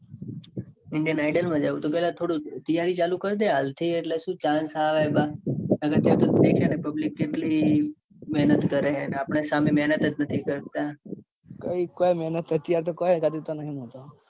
indian ideal માં જાઉં છે. કદાચ થોડું તૈયારી ચાલુ કરી દે. હાલ થી એટલે chance આવે. બાકી public કેટલી મેહનત કરે છે. ને આપડે સામે કઈ મેહનત નથી કરતા. કોઈ મેહનત નાઈ કરતા. કઈ દેખાતી નઈ મને તો.